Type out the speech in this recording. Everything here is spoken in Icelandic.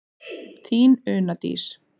Þín Una Dís.